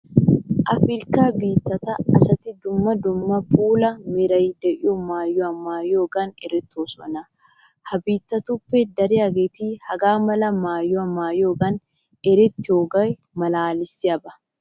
Afirkkaa biittataa asati dumma dumma puula meraara de'iya maayota maayiyogan erettoosona. Ha biittatuppe dariyageeti hagaa mala maayuwa maayiyogan erettiyogee maalaalissiyaba.